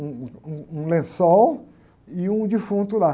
Um, um, um lençol e um defunto lá.